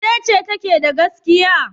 Wace ce take da gaskiya?